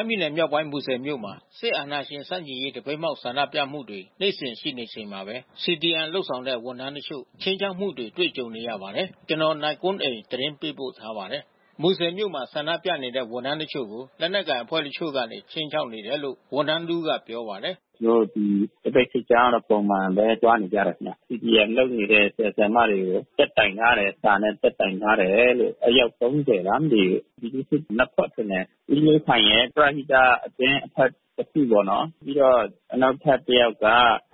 မ်းပြည်နယ်မြောက်ပိုင်း မူဆယ်မြို့မှာ စစ်အဏာရှင်ဆန့်ကျင်ရေး သပိတ်မှောက်ဆန္ဒပြမှုတွေ နေ့စဉ်ရှိနေချိန်မှာပဲ CDM လုပ်တဲ့ ဝန်ထမ်းတချို့ ခြိမ်းခြောက်မှုတွေကြုံနေရပါတယ်။ ဒီအကြောင်း ဗွီအိုအေသတင်းထောက် နိုင်ကွန်းအိန် သတင်းပေးပို့ထားပါတယ်။ မူဆယ်မြို့မှာ ဆန္ဒပြနေကြတဲ့ ဝန်ထမ်းတချို့ကို လက်နက်ကိုင်အဖွဲ့တချို့ကနေ ခြိမ်းခြောက်နေတယ်လို့ ဝန်ထမ်း တဦးကပြောပါတယ်။ “ကျနော်တို့ ဒီသပိတ်စစ်ကြောင်းက ပုံမှန်ပဲသွားနေကြတယ်။ CDM လုပ်နေတဲ့ဆရာ ဆရာမတွေကို တက်တိုင် ထားတယ်။ စာနဲ့တက်တိုင်ထားတယ်လို့ အယောက် (၃၀) လားမသိဘူး။ ပြည်သူ့စစ်နှစ်ဖွဲ့ထင်တယ်။ ဦးမျိုးခိုင်ရယ် ပရဟိတအသင်းအဖွဲ့တခုပေါ့နော်။ ပြီးတော့ နောက်ထပ်တယောက်က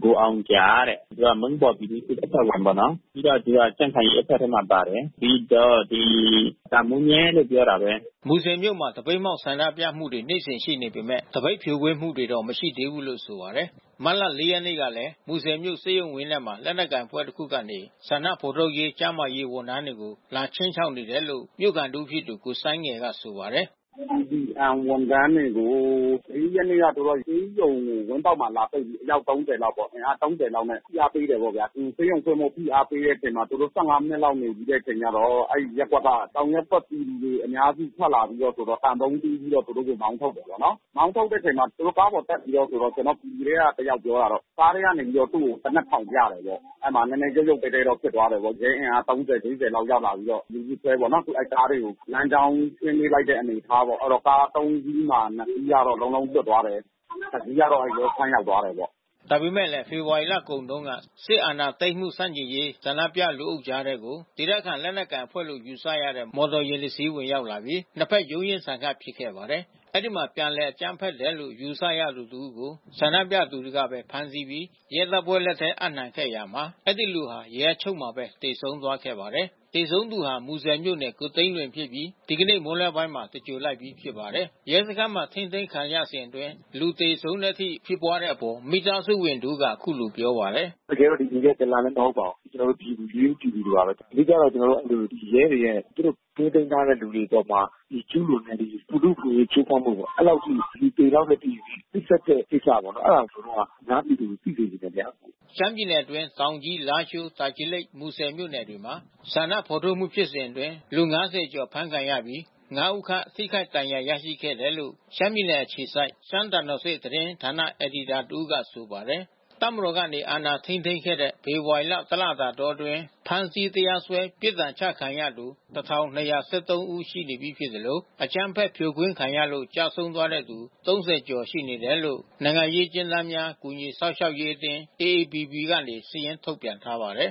ကိုအောင်ဂျာတဲ့။ သူက မုန်းပေါ်ပြည်သူ့ စစ် အဖွဲ့ဝင်ပေါ့နော်။ ပြီးတော့သူက ကြံ့ခိုင်ရေးအဖွဲ့ထဲမှာ ပါတယ်။ ပြီးတော့ဒီ တာမိုးညဲကလို့ ပြောပာတာပဲ။” မူဆယ်မြို့မှာ သပိတ်မှောက်ဆန္ဒပြမှုတွေ နေ့စဉ်ရှိနေပေမဲ့ သပိတ်ဖြိုခွင်းမှုတွေတော့ မရှိသေးဘူးလို့ ဆိုပါတယ်။ မတ်လ (၄) ရက်နေ့ကလည်း မူဆယ်မြို့ဆေးရုံဝင်းထဲမှာ လက်နက်ကိုင်အဖွဲ့တခုကနေ ဆန္ဒဖော်ထုတ်ကျန်းမာရေး ဝန်ထမ်းတွေကို လာခြိမ်းခြောက်နေတယ်လို့ မြို့ခံတဦးဖြစ်သူကိုစိုင်းငယ်က ဆိုပါတယ်။ “CDM ဝန်ထမ်းတွေကို (၄) ရက်က သူတို့ဆေးရုံဝင်းပေါက်မှာလာပိတ်ပြီး အယောက် (၃၀) လောက်ပေါ့။ အင်အား (၃၀) လောက်နဲ့ ဖိအားပေးတယ်ပေါ့ဗျာ။ ဒီဆေးရုံဆင်းဖို့ဖိအားပေးတဲ့အချိန်မှာ သူတို့ (၁၅) မိနစ်လောက်နေပြီးအခါကျတော့ အဲဒီရပ်ကွက်က တောင်ရပ်ကွက်ပြည်သူတွေအများစု ထွက်လာပြီးတော့ သံပုံးတီးပြီးတော့ သူတို့ ကို မောင်းထုတ်တယ်ပေါ့နော်။ မောင်းထုတ်တဲ့အချိန်မှာ ကားပေါ်တက်ပြီးတော့ ကျနော်တို့ ပြည်သူထဲကတယောက်ပြောတာတော့ ကားထဲကနေပြီးတော့ သူ့ကို သေနတ်ထောင်ပြတယ်ပေါ့။ အဲဒီမှာရုပ်ရုပ်သဲသဲတော့ ဖြစ်သွားတာပေါ့။ ရဲအင်အား (၃၀)(၄၀) ရောက်လာပြီးတော့ လူစုခွဲပေါ့နော်။ အဲဒီကားတွေကို လမ်းကြောင်းရှင်းပေးလိုက်တဲ့ အနေအထားပေါ့။ အဲဒီတော့ကား (၃) စီးမှာ (၂) စီးလွတ်သွားတယ်။ တစီးကတော့ရဲစခန်း ရောက်သွားတယ်ပေါ့။” ဒါပေမဲ့ ဖေဖော်ဝါရီလကုန်တုန်းက စစ်အာဏာသိမ်းမှုဆန့်ကျင်ရေး ဆန္ဒပြလူအုပ်ကြားထဲကို ဒေသခံလက်နက်ကိုင်အဖွဲ့လို့ယူဆရတဲ့ မော်တော်ယဉ်တစင်း ဝင်ရောက်လာပြီး နှစ်ဘက်ရုန်းရင်းဆန်ခတ်ဖြစ်ခဲ့ပါတယ်။ အဲဒီမှာ ပြန်လည်အကြမ်းဖက်တယ်လို့ ယူဆရသူတဦးကို ဆန္ဒပြသူတွေကပဲဖမ်းပြီး ရဲတပ်ဖွဲ့လက်ထဲ အပ်နှံခဲ့ရာမှာ အဲဒီလူဟာ ရဲအချုပ်ထဲမှာပဲ သေဆုံးသွားခဲ့ပါတယ်။ သေဆုံးသူဟာ မူဆယ်မြို့နေ ကိုသိန်းလွင်ဖြစ်ပြီး ဒီကနေ့မွန်းလွဲပိုင်းမှာ သြင်္ဂိုဟ်လိုက်ပြီးဖြစ်ပါတယ်။ ရဲစခန်းမှာထိန်းသိမ်းခံရစဉ်အတွင်းလူသေဆုံးတဲ့အထိဖြစ်ပွါးတဲ့အပေါ် မိသားစုဝင်တဦးက အခုလိုပြောပါတယ်။ “တကယ်တော့သူ ဒလန်လည်း မဟုတ်ပါဘူး။ ရိုးရိုးပြည်သူတွေပါပဲ။ အဓိကတော့ ဒီ ရဲတွေရဲ့ သူတို့ထိန်းသိမ်းထားတဲ့လူတွေအပေါ်မှာ ကျူးလွန်နေတဲ့ ဒီလူ့အခွင့်အရေးချိုးဖောက်မှုပေါ့။ အဲဒီလောက်အထိ သေလောက်တဲ့အထိ နှိပ်စက်တဲ့ကိစ္စပေါ့နော်။ အဲဒါကို ကျနော်တို့က အများပြည်သူကို သိစေချင်တယ်။” ရှမ်းပြည်နယ်အတွင်း တောင်ကြီး၊ လားရှိုး၊ တာချီလိတ်၊ မူဆယ်မြို့နယ်တွေမှာ ဆန္ဒဖော်ထုတ်မှုဖြစ်စဉ်အတွင်း လူ (၅၀) ကျော်အဖမ်းဆီးခံရပြီး (၅) ဦးခန့် ထိခိုက်ဒဏ်ရာရရှိခဲ့တယ်လို့ ရှမ်းပြည်နယ်အခြေစိုက် ရှမ်းသံတော်ဆင့်သတင်း ဌာနအယ်ဒီတာတဦးက ဆိုပါတယ်။ တပ်မတော် အာဏာထိန်းသိမ်းခဲ့တဲ့ ဖေဖော်ဝါရီ တလတာအတွင်း ဖမ်းဆီး၊ တရားစွဲ ပြစ်ဒဏ်ချခံရသူ ၁,၂၁၃ ဦး ရှိပြီဖြစ်သလို အကြမ်းဖက် ဖြိုခွင်းခံရလို့ ကျဆုံးသွားခဲ့သူ ၃၀ ဦးခန့် ရှိခဲ့တယ်လို့ နိုင်ငံရေး အကျဉ်းသားများ ကူညီစောင့်ရှောက်ရေးအသင်း (AAPP) က စာရင်းထုတ်ပြန်ထားပါတယ်